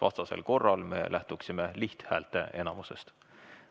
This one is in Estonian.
Vastasel korral me lähtuksime lihthäälteenamusest.